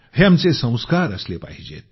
हे आमचे संस्कार असले पाहिजेत